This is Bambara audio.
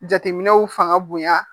Jateminɛw fanga bonya